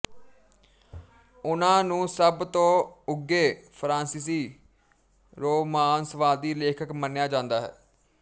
ਉਨ੍ਹਾਂ ਨੂੰ ਸਭ ਤੋਂ ਉੱਘੇ ਫਰਾਂਸੀਸੀ ਰੋਮਾਂਸਵਾਦੀ ਲੇਖਕ ਮੰਨਿਆ ਜਾਂਦਾ ਹੈ